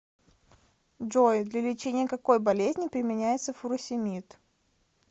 джой для лечения какой болезни применяется фуросемид